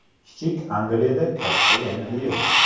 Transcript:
Kichik Angliyada katta Yangi yil!.